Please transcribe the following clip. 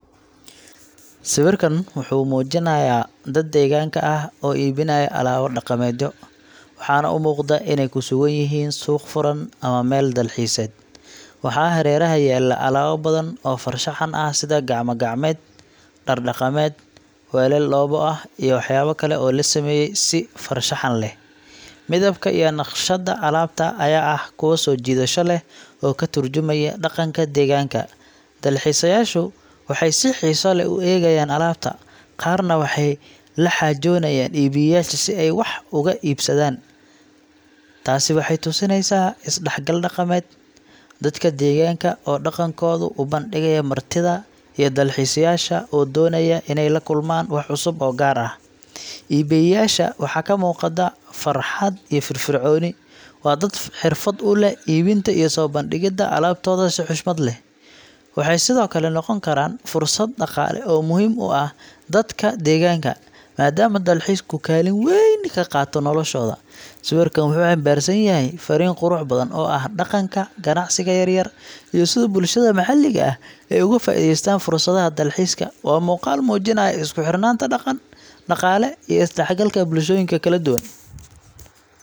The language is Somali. Sawirkan wuxuu muujinayaa dad deegaanka ah oo iibinaya alaabo dhaqameedyo, waxaana u muuqda inay ku sugan yihiin suuq furan ama meel dalxiiseed. Waxaa hareeraha yaalla alaabo badan oo farshaxan ah sida gacmo-gacmeed, dhar dhaqameed, weelal dhoobo ah, iyo waxyaabo kale oo la sameeyay si farshaxan leh. Midabka iyo naqshadda alaabta ayaa ah kuwo soo jiidasho leh oo ka tarjumaya dhaqanka deegaanka. Dalxiisayaashu waxay si xiiso leh u eegayaan alaabta, qaarna waxay la xaajoonayaan iibiyeyaasha si ay wax uga iibsadaan. Taasi waxay tusinaysaa is-dhexgal dhaqameed dadka deegaanka oo dhaqankooda u bandhigaya martida, iyo dalxiisayaasha oo doonaya inay la kulmaan wax cusub oo gaar ah. Iibiyeyaasha waxaa ka muuqda farxad iyo firfircooni. Waa dad xirfad u leh iibinta iyo soo bandhigida alaabtooda si xushmad leh. Waxay sidoo kale noqon kartaa fursad dhaqaale oo muhiim u ah dadka deegaanka, maadaama dalxiisku kaalin weyn ka qaato noloshooda. Sawirkan wuxuu xambaarsan yahay farriin qurux badan oo ah dhaqanka, ganacsiga yaryar, iyo sida bulshada maxalliga ah ay uga faa’iidaystaan fursadaha dalxiiska. Waa muuqaal muujinaya isku xirnaanta dhaqan, dhaqaale, iyo isdhexgalka bulshooyinka kala duwan.